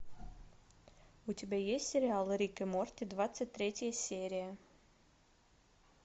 у тебя есть сериал рик и морти двадцать третья серия